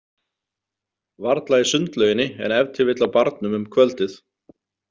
Varla í sundlauginni en ef til vill á barnum um kvöldið.